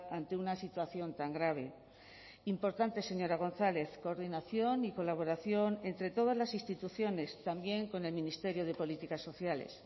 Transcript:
ante una situación tan grave importante señora gonzález coordinación y colaboración entre todas las instituciones también con el ministerio de políticas sociales